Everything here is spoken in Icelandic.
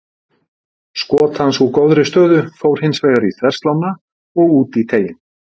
Skot hans úr góðri stöðu fór hins vegar í þverslánna og út í teiginn.